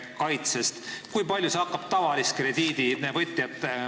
Kui palju see muudatus hakkaks tavalist krediidivõtjat mõjutama?